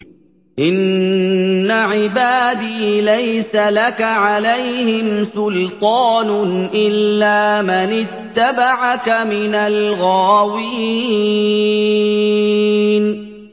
إِنَّ عِبَادِي لَيْسَ لَكَ عَلَيْهِمْ سُلْطَانٌ إِلَّا مَنِ اتَّبَعَكَ مِنَ الْغَاوِينَ